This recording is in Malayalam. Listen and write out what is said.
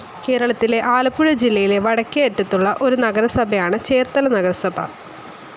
കേരളത്തിലെ ആലപ്പുഴ ജില്ലയിലെ വടക്കേ അറ്റത്തുള്ള ഒരു നഗരസഭയാണ് ചേർത്തല നഗരസഭാ.